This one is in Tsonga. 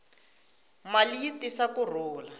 mali yi tisa ku rhula